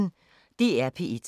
DR P1